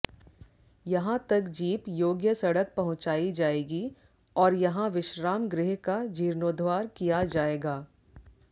यहां तक जीप योग्य सड़क पहुंचाई जाएगी और यहां विश्राम गृह का जीर्णोद्धार किया जाएगा